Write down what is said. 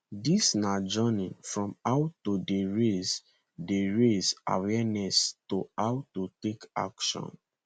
dis na journey from how to dey raise dey raise awareness to how to take action